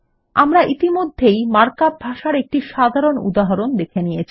আমরা ইতিমধ্যেই মার্কআপ ভাষার একটি সাধারণ উদাহরণ দেখে নিয়েছি